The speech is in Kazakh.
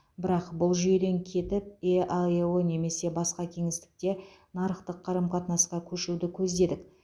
бірақ бұл жүйеден кетіп еаэо немесе басқа кеңістікте нарықтық қарым қатынасқа көшуді көздедік